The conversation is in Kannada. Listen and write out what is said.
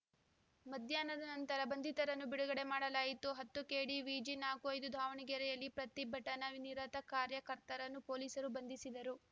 ಮಧ್ಯಾಹ್ನದ ನಂತರ ಬಂಧಿತರನ್ನು ಬಿಡುಗಡೆ ಮಾಡಲಾಯಿತು ಹತ್ತು ಕೆಡಿವಿಜಿ ನಾಕು ಐದು ದಾವಣಗೆರೆಯಲ್ಲಿ ಪ್ರತಿಭಟನಾ ನಿರತ ಕಾರ್ಯಕರ್ತರನ್ನು ಪೊಲೀಸರು ಬಂಧಿಸಿದರು